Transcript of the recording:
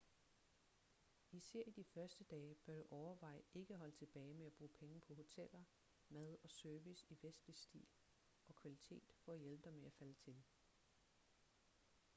især i dine første dage bør du overveje ikke at holde tilbage med at bruge penge på hoteller mad og service i vestlig stil og kvalitet for at hjælpe dig med at falde til